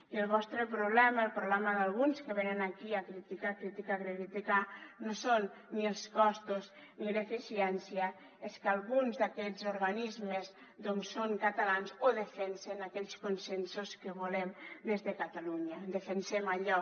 i el vostre problema el problema d’alguns que venen aquí a criticar criticar criticar no són ni els costos ni l’eficiència és que alguns d’aquests organismes doncs són catalans o defensen aquells consensos que volem des de catalunya defensem allò